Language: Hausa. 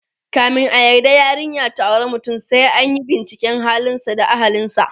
kamin a yarda yarinya ta auri mutum, sai anyi binciken halin sa da ahlinsa